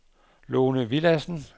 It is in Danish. Lone Villadsen